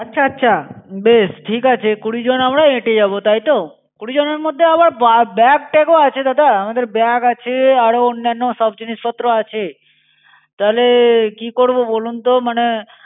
আচ্ছা, আচ্ছা, বেশ ঠিক আছে কুড়িজন আমরা হেঁটে যাবো তাইতো? কুড়িজনের মধ্যে আবার bag-tag আছে দাদা, আমাদের bag আছে, আরো অন্যান্য অন্যান্য সব জিনিসপত্র আছে। তাহলে, কি করব বলুন তো? মানে